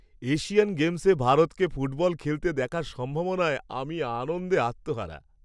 Asian গেমসে ভারতকে football খেলতে দেখার সম্ভাবনায় আমি আনন্দে আত্মহারা।